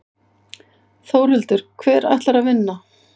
Þórhildur: Hver ætlar að vinna?